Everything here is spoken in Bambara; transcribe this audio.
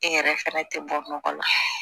E yɛrɛ fɛnɛ tɛ bɔ nɔgɔ la